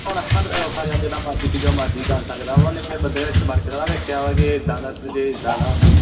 ਹੁਣ ਔਖਾ ਯਾਰ ਜਿੰਦਾ ਮਰਜੀ ਜੋ ਮਰਜੀ ਕਰ ਸਕਦਾ ਵਾ ਓਹਨੇ ਫਿਰ ਬੰਦੇ ਨੇ ਕਿਹੜਾ ਵੇਖਿਆ ਵਾ ਕਿ ਇਦਾ ਦਾ ਜੇ ਇਦਾ ਦਾ